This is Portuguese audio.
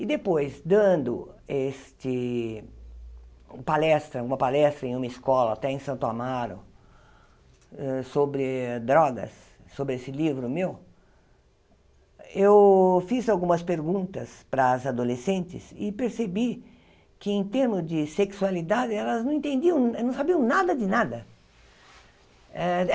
E depois, dando este palestra uma palestra em uma escola, até em Santo Amaro, sobre drogas, sobre esse livro meu, eu fiz algumas perguntas para as adolescentes e percebi que, em termos de sexualidade, elas não entendiam elas não sabiam nada de nada.